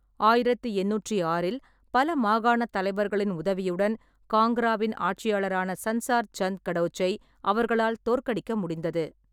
ஆயிரத்து எண்ணூற்று ஆறில் பல மாகாணத் தலைவர்களின் உதவியுடன் காங்க்ராவின் ஆட்சியாளரான சன்சார் சந்த் கடோச்சை அவர்களால் தோற்கடிக்க முடிந்தது.